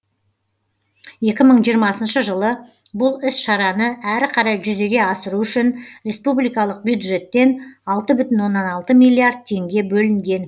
екі мың жиырмасыншы жылы бұл іс шараны әрі қарай жүзеге асыру үшін республикалық бюджеттен алты бүтін оннан алты миллиард теңге бөлінген